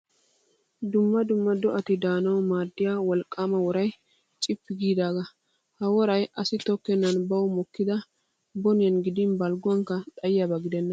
Dumma dumma do'ati daanawu maaddiyaa wolqqaama worayi cippi giidaaga. Ha worayi asi tokkennan bawu mokkidi boniyan gidin balgguwankka xayiyaaba gidenna.